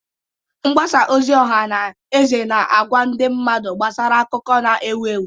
Mgbasa ozi ọha na eze na-agwa ndị mmadụ gbasara akụkọ na-ewu ewu.